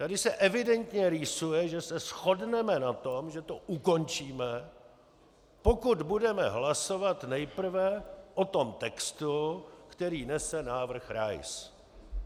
Tady se evidentně rýsuje, že se shodneme na tom, že to ukončíme, pokud budeme hlasovat nejprve o tom textu, který nese návrh Rais.